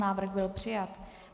Návrh byl přijat.